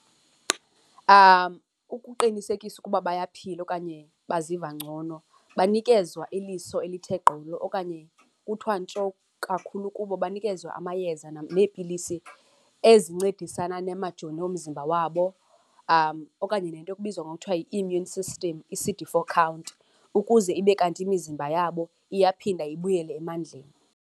Ukuqinisekisa ukuba bayaphila okanye baziva ngcono, banikezwa iliso elithe gqolo okanye kuthiwa ntsho kakhulu kubo. Banikezwa amayeza neepilisi ezincedisana namajoni omzimba wabo, okanye le nto kubizwa ngokuthiwa yi-immune system, i-C_D four count, ukuze ibe kanti imizimba yabo iyaphinda ibuyele emandleni.